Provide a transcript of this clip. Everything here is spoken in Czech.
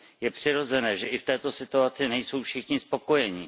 Je přirozené, že i v této situaci nejsou všichni spokojeni.